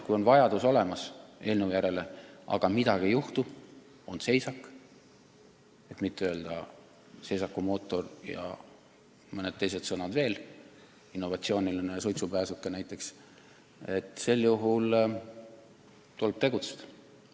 Kui vajadus eelnõu järele on olemas, aga midagi juhtub, on seisak, et mitte öelda seisakumootor ja mõned teised sõnad veel, innovatsiooniline suitsupääsuke näiteks, siis tuleb tegutseda.